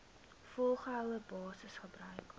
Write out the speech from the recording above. volgehoue basis gebruik